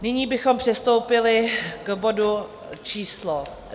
Nyní bychom přistoupili k bodu číslo